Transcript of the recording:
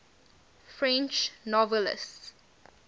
french novelists